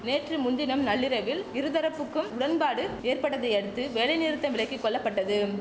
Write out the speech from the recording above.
நேற்று முன்தினம் நள்ளிரவில் இருதரப்புக்கும் உடன்பாடு ஏற்பட்டதையடுத்து வேலை நிறுத்தம் விலக்கி கொள்ளப்பட்டதும்